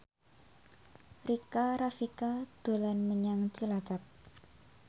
Rika Rafika dolan menyang Cilacap